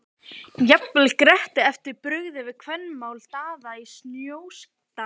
Það hjálpar mikið að hún er í ókeypis húsnæði.